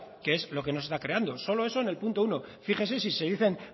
que es lo que no se está creando solo eso en el punto uno fíjese si se dicen